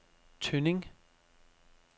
Tønding